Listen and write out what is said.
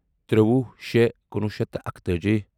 تِرٛوُہ شےٚ کُنوُہ شیٚتھ تہٕ اکتٲجی